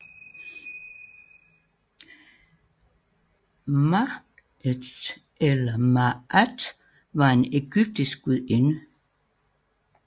Maat eller Maàt var en egyptisk gudinde